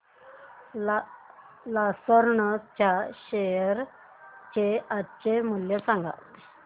Larsen च्या share चे आजचे मूल्य सांगा